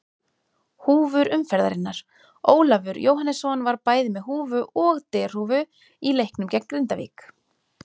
Húfur umferðarinnar: Ólafur Jóhannesson var bæði með húfu og derhúfu í leiknum gegn Grindavík.